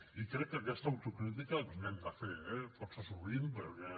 i crec que aquesta autocrítica ens l’hem de fer eh força sovint perquè